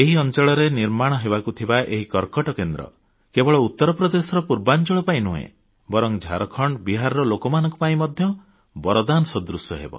ଏହି ଅଂଚଳରେ ନିର୍ମାଣ ହେବାକୁ ଥିବା ପ୍ରସ୍ତାବିତ କର୍କଟ କେନ୍ଦ୍ର କେବଳ ଉତ୍ତର ପ୍ରଦେଶର ପୂର୍ବାଂଚଳ ପାଇଁ ନୁହେଁ ବରଂ ଝାଡ଼ଖଣ୍ଡ ଓ ବିହାରର ଲୋକମାନଙ୍କ ପାଇଁ ବରଦାନ ସଦୃଶ